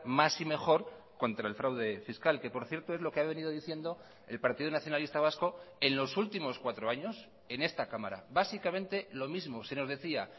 más y mejor contra el fraude fiscal que por cierto es lo que ha venido diciendo el partido nacionalista vasco en los últimos cuatro años en esta cámara básicamente lo mismo se nos decía